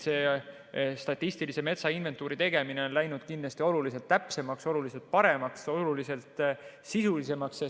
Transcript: Statistilise metsainventuuri tegemine on läinud kindlasti oluliselt täpsemaks, oluliselt paremaks, oluliselt sisulisemaks.